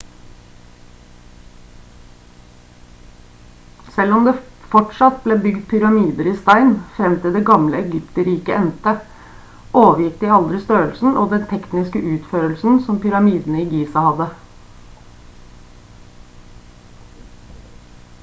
selv om det fortsatt ble bygd pyramider i stein frem til det gamle egypterriket endte overgikk de aldri størrelsen og den tekniske utførelsen som pyramidene i giza hadde